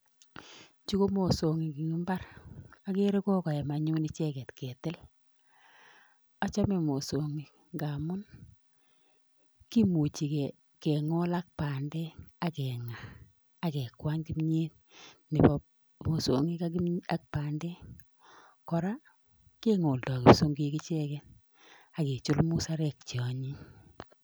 Chu ko mosong'iik en imbaar, agree ko koyaam anyun icheget ketil. Achome mosong'iik ngamun kimuchi kingol ak bandek ak keng'aa ak kekwany kimiet nebo mosong'iik ak bandek. Kora kingoldoo musongiik ichegen ak kechul musarek cheonyiny.